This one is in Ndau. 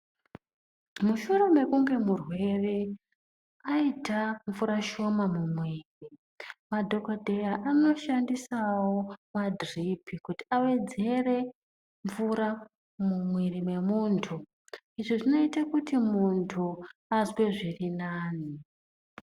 Mushure mekunge murwere aita mvura shoma mumwiri madhogodheya anoshandisawo madhiripi kuti awedzere mvura mumwiri memuntu. Izvi zvinoite kuti muntu azwe zvirinani.